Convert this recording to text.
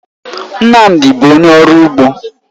Nnamdi bụ onye ọrụ ugbo